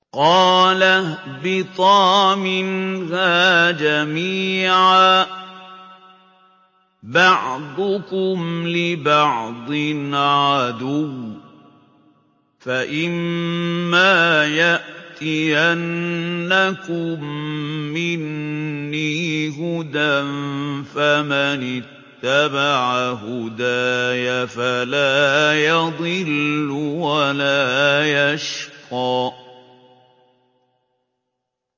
قَالَ اهْبِطَا مِنْهَا جَمِيعًا ۖ بَعْضُكُمْ لِبَعْضٍ عَدُوٌّ ۖ فَإِمَّا يَأْتِيَنَّكُم مِّنِّي هُدًى فَمَنِ اتَّبَعَ هُدَايَ فَلَا يَضِلُّ وَلَا يَشْقَىٰ